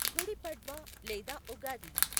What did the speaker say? గుడి పడ్వా లేదా ఉగాది